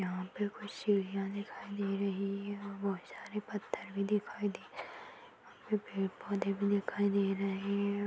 यहाँ पे कुछ सीढ़ियां दिखाई दे रही है बहुत सारे पत्थर भी दिखाई दे पे_पेड़-पौधे भी दिखाई दे रहे है|